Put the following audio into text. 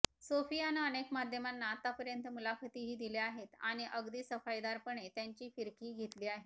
सोफियानं अनेक माध्यमांना आतापर्यंत मुलाखतीही दिल्या आहेत आणि अगदी सफाईदारपणे त्यांची फिरकीही घेतली आहे